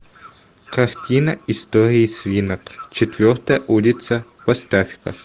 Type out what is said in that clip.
картина истории свинок четвертая улица поставь ка